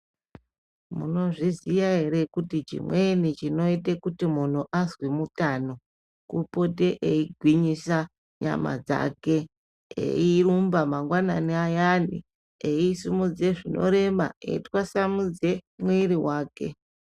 Munozviziya ere kuti chimweni chinoita kuti azi mutano kupote eyigwinyisa nyama dzake eyirumba mangwanani ayani eyisimudze zvinorema eyitwasamudze mwiri wake.